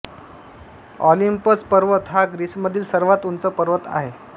Olympus पर्वत हा ग्रीसमधील सर्वात उंच पर्वत आहे